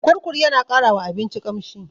Kurkur yana ƙara wa abinci ƙamshi.